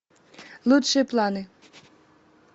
лучшие планы